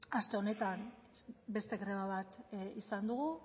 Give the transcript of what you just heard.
aste honetan beste greba bat izan dugu